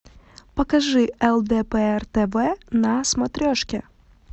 покажи лдпр тв на смотрешке